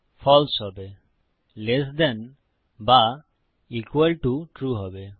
ফালসে হবে less than ছোট বা ইকুয়াল টো সমান ট্রু হবে